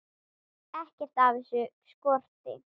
Ekkert af þessu skorti.